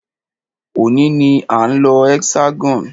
Òní ní a ń lọ Hexagon.